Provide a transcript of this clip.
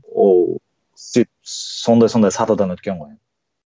ол сөйтіп сондай сондай сатыдан өткен ғой